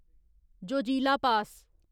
Zojila पास